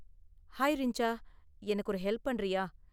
Hi Rinja, எனக்கு ஒரு help பண்றியா?